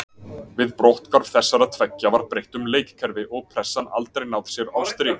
Við brotthvarf þessara tveggja var breytt um leikkerfi og pressan aldrei náð sér á strik.